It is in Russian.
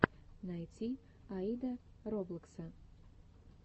найти аида роблокса